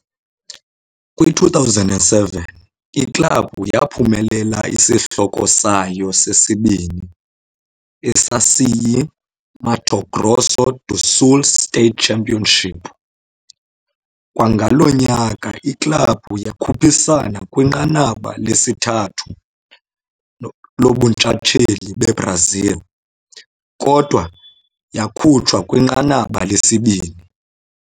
Kwi-2007, iklabhu yaphumelela isihloko sayo sesibini, esasiyi-Mato Grosso do Sul State Championship. Kwangalo nyaka, iklabhu yakhuphisana kwiNqanaba lesithathu lobuNtshatsheli beBrazil, kodwa yakhutshwa kwinqanaba lesibini.